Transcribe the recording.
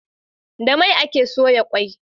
Da mai ake soya kwai